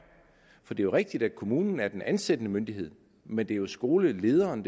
for det er rigtigt at kommunen er den ansættende myndighed men det er jo skolelederen